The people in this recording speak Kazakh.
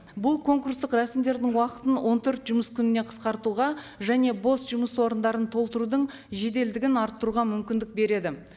бұл конкурстық рәсімдердің уақытын он төрт жұмыс күніне қысқартуға және бос жұмыс орындарын толтырудың жеделдігін арттыруға мүмкіндік береді